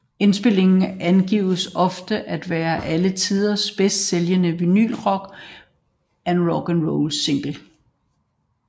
Indspilningen angives ofte at være alle tiders bedst sælgende vinyl rock and roll single